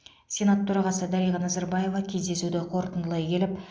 сенат төрағасы дариға назарбаева кездесуді қорытындылай келіп